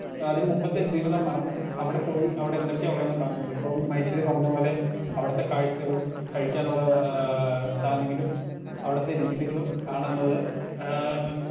Speaker 1 അതിന്റെ മുമ്പത്തെ ജീവിതം മറന്ന് അവിടെ പോയി അവിടെ എന്തൊക്കെ ഉള്ളേന്ന് കാണുന്നത് ഇപ്പം മഹേശ്വരി പറഞ്ഞ പോലെ അവിടത്തെ കാഴ്ച്ചകളും കഴിക്കാനുള്ള ആ സാനങ്ങളും അവിടത്തെ രീതികളും കാണുന്നത് ഏ.